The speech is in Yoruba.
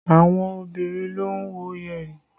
Àwọn obìnrin ló ń wọ yẹ̀rì